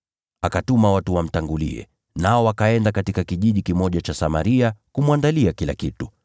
Akatuma watu wamtangulie, nao wakaenda katika kijiji kimoja cha Samaria kumwandalia kila kitu;